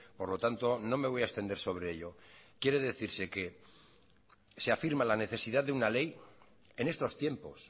por lo tanto no me voy a extender sobre ello quiere decirse que se afirma la necesidad de una ley en estos tiempos